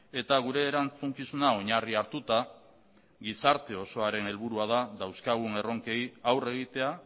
eta gure erantzukizuna oinarri hartuta gizarte osoaren helburua da dauzkagun erronkei aurre egitea